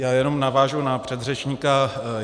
Já jenom navážu na předřečníka.